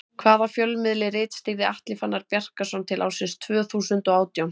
Hvaða fjölmiðli ritstýrði Atli Fannar Bjarkason til ársins tvö þúsund og átján?